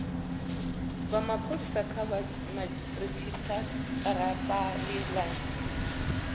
wa pholisa kha madzhisitirata line